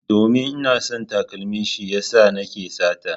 Domin ina son takalmin shi ya sa nake sata.